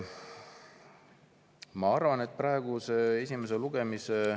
Ma arvan, et praeguse esimese lugemise …